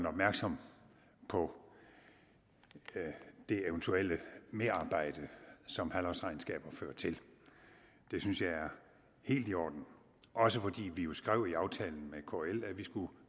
opmærksom på det eventuelle merarbejde som halvårsregnskaber fører til det synes jeg er helt i orden også fordi vi jo skrev i aftalen med kl at vi skulle